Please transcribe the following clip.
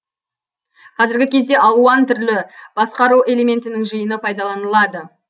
қазіргі кезде алуан түрлі басқару элементінің жиыны пайдаланылады